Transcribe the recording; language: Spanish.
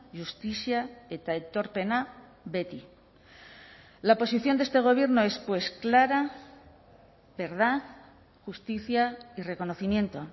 justizia eta aitorpena beti la posición de este gobierno es pues clara verdad justicia y reconocimiento